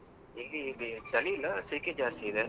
ಇಲ್ಲಿ ಬಿ ಚಳಿ ಇಲ್ಲಾ ಸೆಕೆ ಜಾಸ್ತಿ ಇದೆ.